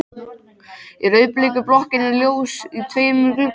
Í rauðbleiku blokkinni er ljós í tveimur gluggum.